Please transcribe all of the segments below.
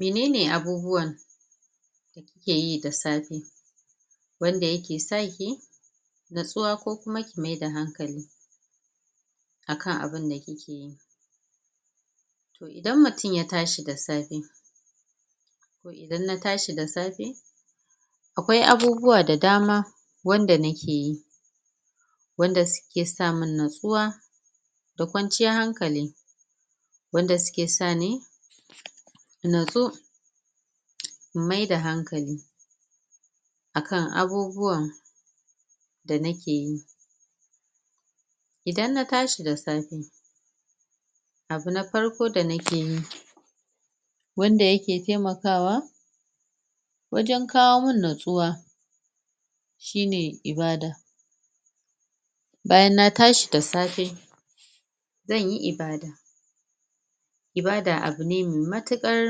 Me nene abubuwan keyi da safe wanda yake saki natsuwa ko kuma ki mayar da hankali akan abun da kikeyi idan mutun yatashi da safe idan natashi da safe akwai abubuwa da dama wanda nakeyi wanda suke samun natsuwa da ƙwanciyar hankali wanda suke sani na tsu in maida hankali akan abubuwan da nakeyi idan natashi da safe abu na farko da nakeyi wanda yake temakawa wajan kawomun na tsuwa shine ibada bayan na tashi da safe zanyi ibada ibada abu ne mai matuƙar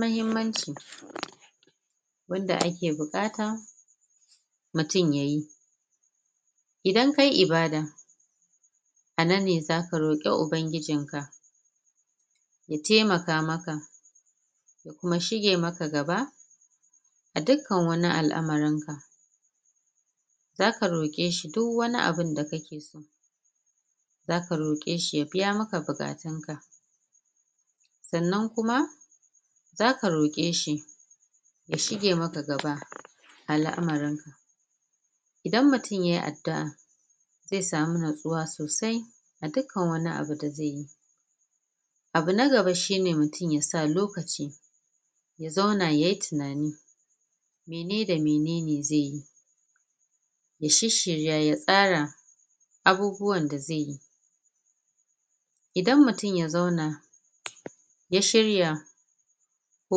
mahimmanci wanda ake buƙata mutun yayi idan kayi ibada ananne zaka roke uban gijinka ya temaka maka yashige maka gaba adukkan wani al'amarinka zaka roƙeshi duk wani abunda kakeso zaka roƙeshi yabimaka buƙatunka sannan kuma zaka roƙeshi yashige maka gaba al'amarinka idan mutun yai addu'a ze samu na tsuwa sosai a dukkan wani abu da zeyi abu nagaba shine mutun yasa lokaci ya zauna yayi tinani mene da menene zeyi ya shirshirya ya tsara abubuwan da zeyi idan mutun ya zauna ya shirya ko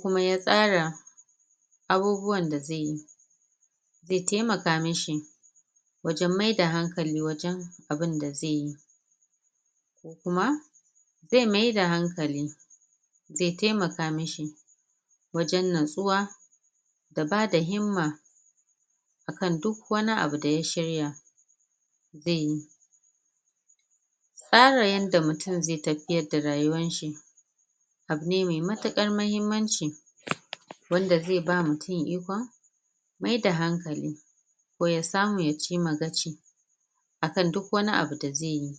kuma ya ƙara abubuwan da zeyi ze temaka mashi wajan mai da hankali wajan abun da zeyi kuma ze maida hankali ze temaka mishi wajan natsuwa da bada himma akan duk wani abu da ya shirya zeyi tsara yanda mutun ze tafiyar da rayuwan shi abune me matuƙan mahimmanci wanda ze ba mutun ikon maida hankali ko ya samu yacima gaci angan duk wani abu da zeyi